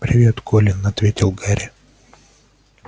привет колин ответил гарри